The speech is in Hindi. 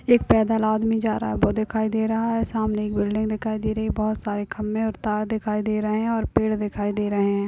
एक पैदल आदमी जा रहा है वो दिखाई दे रहा है सामाने एक बिल्डिंग दिखाई दे रही है बहुत सारे खंभे और तार दिखाई दे रहे है और पेड दिखाई दे रहे है।